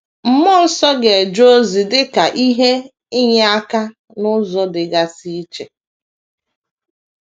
Mmụọ nsọ ga - eje ozi dị ka ihe inyeaka n’ụzọ dịgasị iche.